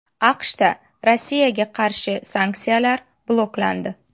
AQShda Rossiyaga qarshi sanksiyalar bloklandi.